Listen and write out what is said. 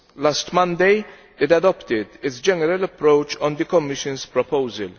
Last Monday, it adopted its general approach on the Commission's proposal.